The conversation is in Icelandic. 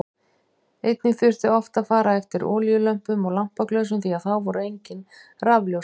Einnig þurfti oft að fara eftir olíulömpum og lampaglösum því að þá voru engin rafljósin.